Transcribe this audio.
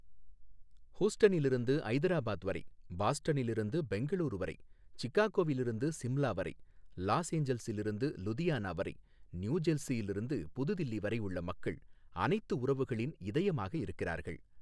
ஹூஸ்டனிலிருந்து ஐதராபாத் வரை, பாஸ்டனிலிருந்து பெங்களூரு வரை, சிக்காகோவிலிருந்து சிம்லா வரை, லாஸ்ஏஞ்சல்சிலிருந்து லுதியானா வரை, நியூஜெர்சியிலிருந்து புதுதில்லி வரை உள்ள மக்கள் அனைத்து உறவுகளின் இதயமாக இருக்கிறார்கள்.